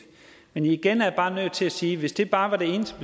men igen er jeg bare nødt til at sige at hvis det bare var det eneste